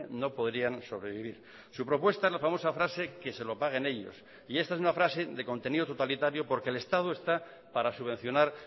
no podrían sobrevivir su propuesta es la famosa frase que se lo paguen ellos y esta es una frase de contenido totalitario porque el estado está para subvencionar